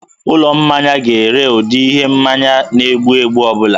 Ụlọ mmanya ga-ere ụdị ihe mmanya na-egbu egbu ọ bụla